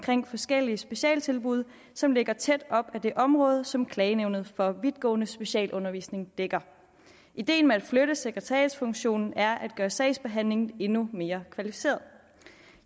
forskellige specialtilbud som ligger tæt op ad det område som klagenævnet for vidtgående specialundervisning dækker ideen med at flytte til sekretariatsfunktionen er at gøre sagsbehandlingen endnu mere kvalificeret